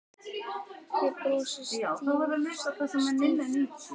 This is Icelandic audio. Ég brosi stíft.